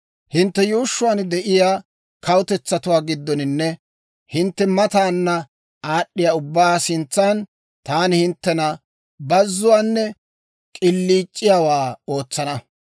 «Hinttenttu yuushshuwaan de'iyaa kawutetsatuwaa giddoninne hintte mataana aad'd'iyaa ubbaa sintsan taani hinttena bazuwaanne k'iliic'iyaawaa ootsana.